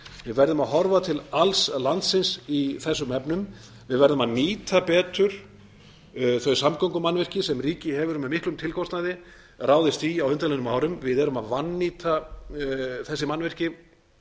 við verðum að horfa til alls landsins í þessum efnum við verðum að nýta betur þau samgöngumannvirki sem ríkið hefur með miklum tilkostnaði ráðist í á undanliðnum árum við erum að vannýta þessi mannvirki